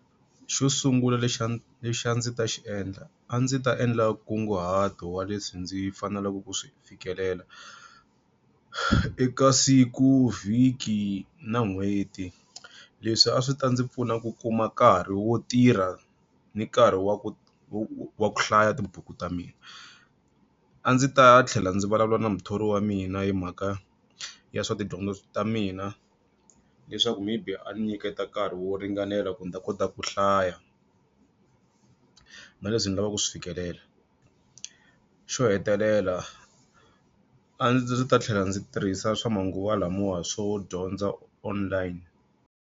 Xo sungula lexi a lexi a ndzi ta xiendla a ndzi ta endla nkunguhato wa leswi ndzi faneleke ku swi fikelela, eka siku vhiki na n'hweti. Leswi a swi ta ndzi pfuna ku kuma nkarhi wo tirha ni nkarhi wa ku wa ku hlaya tibuku ta mina. A ndzi ta tlhela ndzi vulavula na muthori wa mina hi mhaka ya swa tidyondzo ta mina leswaku maybe a nyiketa nkarhi wo ringanela ku ni ta kota ku hlaya, na leswi ni lavaka swi fikelela. Xo hetelela, a ndzi ta tlhela ndzi tirhisa swa manguva lamawa swo dyondza online.